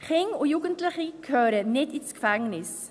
Kinder und Jugendliche gehören nicht ins Gefängnis.